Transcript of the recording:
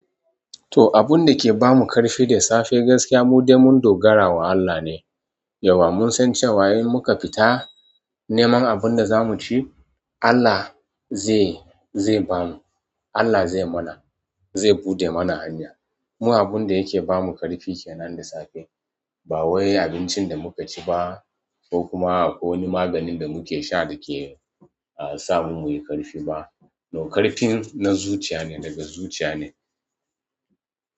To abun da ke bamu ƙarfi da safe gaskiya mu dai mun dogara ga Allah ne. Yauwa mun san cewa in muka fita neman abun da za mu ci, Allah zai ba mu, Allah zai mana, zai buɗe mana hanya. Mun abun da yake ba mu ƙarfi kenan da safe. Ba wai abincin da muka ci ba ko kuma ko wani maganin da muke sha da ke sa mu muyi ƙarfi ba. No, ƙarfin na zuciya ne, daga zuciya ne.